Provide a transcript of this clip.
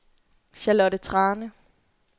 Charlotte Thrane